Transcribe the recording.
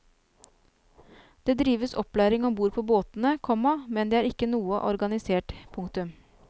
Det drives opplæring om bord på båtene, komma men det er ikke noe organisert. punktum